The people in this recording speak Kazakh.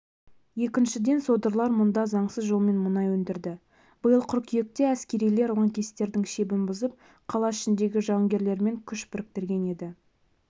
екіншіден содырлар мұнда заңсыз жолмен мұнай өндірді биыл қыркүйекте әскерилер лаңкестердің шебін бұзып қала ішіндегі жауынгерлермен күш біріктірген еді